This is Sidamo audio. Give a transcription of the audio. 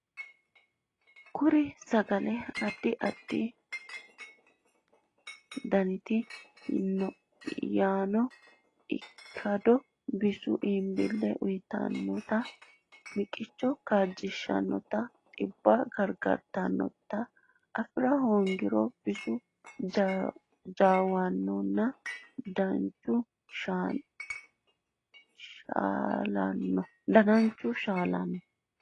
Kuri sagale addi addi danita yaano ikkado bisoho iibbille uytannota miqicho kaajjishshannotanna dhibba gargartannota afi hoongiro bisu jaawannonna dananchu shaalanno.